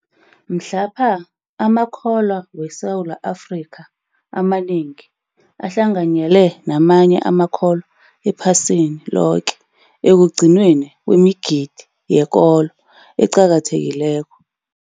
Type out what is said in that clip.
Mhlapha amakholwa weSewula Afrika amanengi ahlanganyele namanye amakholwa ephasini loke ekugcinweni kwemigidi yekolo eqakathekileko.